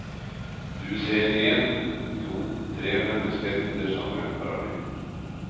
Du ser èn, to, tre mennesker under samme paraply.